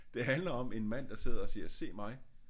Det handler om en mand der sidder og siger se mig